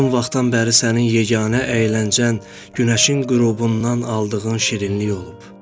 Uzun vaxtdan bəri sənin yeganə əyləncən günəşin qürubundan aldığın şirinlik olub.